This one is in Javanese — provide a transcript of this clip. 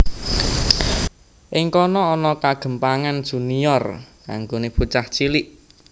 Ing kana ana kegémpangan Junior kanggoné bocah cilik